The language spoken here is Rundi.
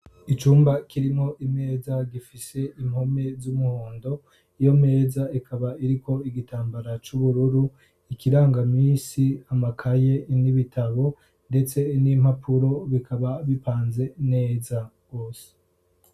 icyumba kirimo imeza gifishe impome z'umuhondo iyo meza ikaba iriko igitambara cy'ubururu ikirangamisi amakaye n'ibitabo ndetse n'impapuro bikaba bipanze neza wose